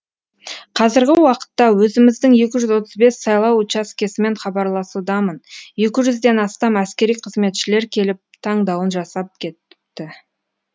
қазіргі уақытта өзіміздің екі жүз отыз бес сайлау учаскесімен хабарласудамын екі жүзден астам әскери қызметшілер келіп таңдауын жасап кетіпті